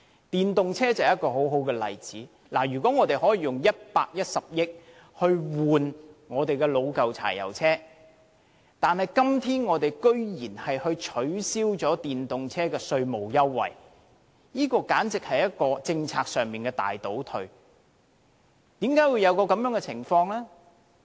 電動車就是一個很好的例子，如果我們可以用110億元更換老舊的柴油車，為何今天居然降低電動車的稅務優惠，這簡直是政策上的大倒退。